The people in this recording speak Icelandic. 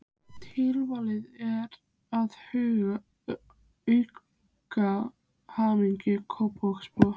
Tilvalinn til að auka hamingju Kópavogsbúa.